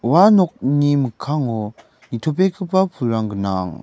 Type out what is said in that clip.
ua nokni mikkango nitobegipa pulrang gnang.